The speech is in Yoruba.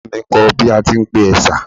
Ìyá mi n kọ́ ọ bí a tí ń pe ẹ̀sà